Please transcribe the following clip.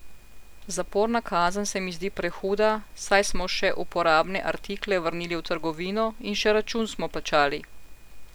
Zaporna kazen se mi zdi prehuda, saj smo še uporabne artikle vrnili v trgovino in še račun smo plačali.